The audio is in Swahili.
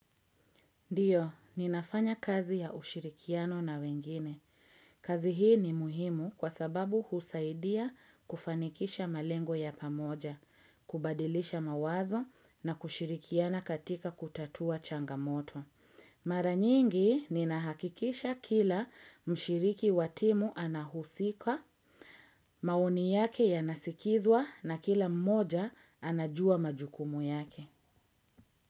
Ndiyo, ninafanya kazi ya ushirikiano na wengine. Kazi hii ni muhimu kwa sababu husaidia kufanikisha malengo ya pamoja, kubadilisha mawazo na kushirikiana katika kutatua changamoto. Mara nyingi, ninahakikisha kila mshiriki wa timu anahusika, maoni yake yanasikizwa na kila mmoja anajua majukumu yake.